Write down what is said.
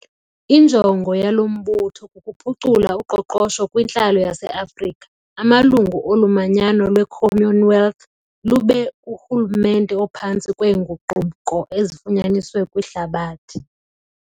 Injongo yalo mbutho kukuphucula uqoqosho kwintlalo yaseAfrika, amalungu olu manyano lwe-commonwealth, lube kuhulumente ophantsi kweenguquko ezifunyaniswe kwihlabathi.